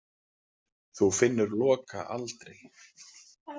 Þú finnur Loka aldrei.